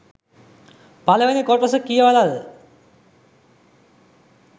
පළවෙනි කොටස කියවලද?